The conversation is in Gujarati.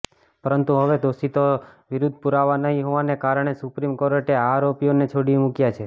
પરંતુ હવે દોષિતો વિરુદ્ધ પુરાવા નહીં હોવાને કારણે સુપ્રીમ કોર્ટે આ આરોપીઓને છોડી મૂક્યાં છે